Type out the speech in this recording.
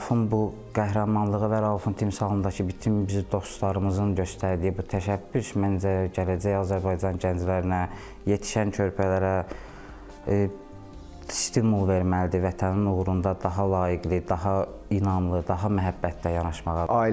Raufun bu qəhrəmanlığı və Raufun timsalındakı bütün biz dostlarımızın göstərdiyi bu təşəbbüs məncə gələcək Azərbaycan gənclərinə, yetişən körpələrə stimul verməlidir, Vətənin uğrunda daha layiqli, daha inamlı, daha məhəbbətlə yanaşmağa.